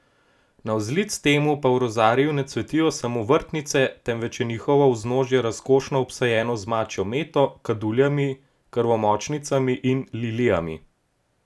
Navzlic temu pa v rozariju ne cvetijo samo vrtnice, temveč je njihovo vznožje razkošno obsajeno z mačjo meto, kaduljami, krvomočnicami in lilijami.